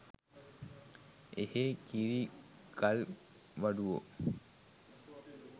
එහේ කිරි ගල් වඩුවෝ